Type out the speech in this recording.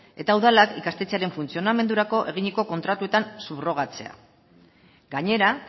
eta udalak ikastetxearen funtzionamendurako eginiko kontratuetan subrogatzea gainera